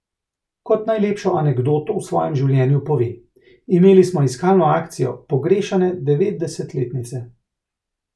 Kot najlepšo anekdoto v svojem življenju pove: 'Imeli smo iskalno akcijo pogrešane devetdesetletnice.